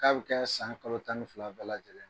K'a bɛ kɛɛ san kalo tan ni fila bɛɛ lajɛlen n